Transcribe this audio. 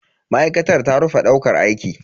Ma'aikatar ta rufe daukar aiki.